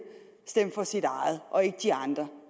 for sit eget og ikke de andres